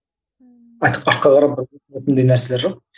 артқа қарап нәрселер жоқ